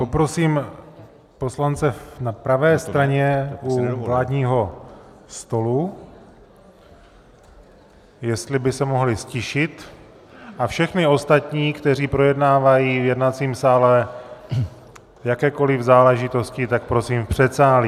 Poprosím poslance na pravé straně u vládního stolu, jestli by se mohli ztišit, a všechny ostatní, kteří projednávají v jednacím sále jakékoli záležitosti, tak prosím v předsálí.